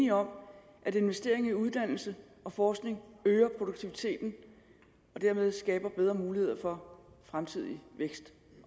enige om at investering i uddannelse og forskning øger produktiviteten og dermed skaber bedre muligheder for fremtidig vækst